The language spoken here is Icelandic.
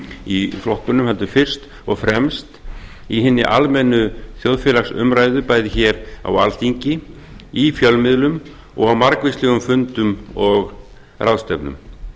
í flokkunum heldur fyrst og fremst í hinni almennu þjóðfélagsumræðu bæði hér á alþingi í fjölmiðlum og á margvíslegum fundum og ráðstefnum